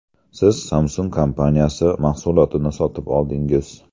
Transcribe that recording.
Siz Samsung kompaniyasi mahsulotini sotib oldingiz.